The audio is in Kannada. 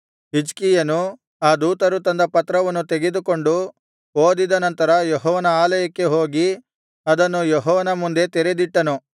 ಹಿಜ್ಕೀಯನು ಆ ದೂತರು ತಂದ ಪತ್ರವನ್ನು ತೆಗೆದುಕೊಂಡು ಓದಿದ ನಂತರ ಯೆಹೋವನ ಆಲಯಕ್ಕೆ ಹೋಗಿ ಅದನ್ನು ಯೆಹೋವನ ಮುಂದೆ ತೆರೆದಿಟ್ಟನು